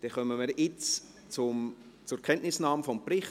Dann kommen wir jetzt zur Kenntnisnahme des Berichts.